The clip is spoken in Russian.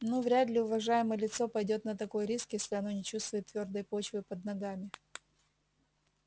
ну вряд ли уважаемое лицо пойдёт на такой риск если оно не чувствует твёрдой почвы под ногами